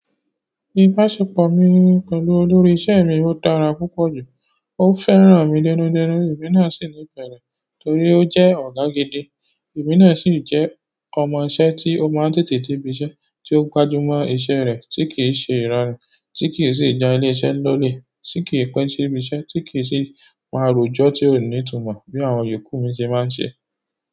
Ìbáṣepọ̀ mi pẹ̀lú olórí iṣẹ́ mi ó dára púpọ̀ jù, ó fẹ́ràn mi dẹ́nú dẹ́nú, èmi náà sì ní ìfẹ́rẹ́ torí ó jẹ́ ọ̀gá gidi. Èmi na sì jẹ́ ọmọ iṣẹ́, tí o má ń tètè dé ibiṣẹ́, tí ó gbájú mo iṣẹ́ rẹ̀, ti kí ń sì jà ilese ni olè, ti kì pẹ́ dé ibiṣẹ́, ti kí ń sì má ń rò ẹjọ́ tí ó ní ìtumọ̀, bí àwọn ìyókù mi ṣe má ń ṣe.